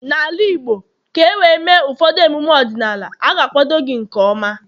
n'ala Igbo, ka e wee mee ụfọdụ emume ọdịnala, a ga-akwado gị nke ọma